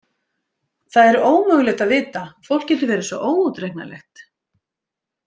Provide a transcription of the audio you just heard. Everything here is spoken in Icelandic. Það er ómögulegt að vita, fólk getur verið svo óútreiknanlegt.